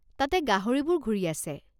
তাতে গাহৰিবোৰ ঘূৰি আছে।